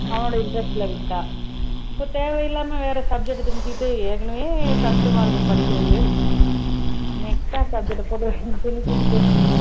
அவனோட interest ல விட்டா இப்ப தேவையில்லாம வேற subject அ திணிச்சுட்டு ஏற்கனவே கஷ்டமா இருக்கும் படிக்கிறது extra ஆ subject அ திணிச்சுக்கிட்டு